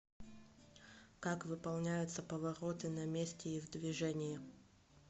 как выполняются повороты на месте и в движении